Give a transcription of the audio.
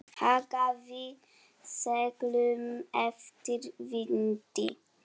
Hagaði seglum eftir vindi.